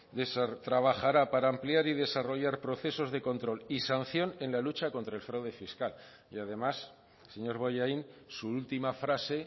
trabajará para ampliar y desarrollar procesos de control y sanción en la lucha contra el fraude fiscal además señor bollaín su última frase